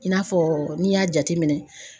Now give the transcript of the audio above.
I n'a fɔ n'i y'a jate minɛn